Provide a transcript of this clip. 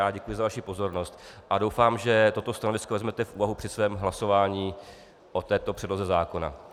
Já děkuji za vaši pozornost a doufám, že toto stanovisko vezmete v úvahu při svém hlasování o této předloze zákona.